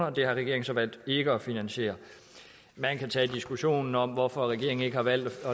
og det har regeringen så valgt ikke at finansiere man kan tage diskussionen om hvorfor regeringen ikke har valgt at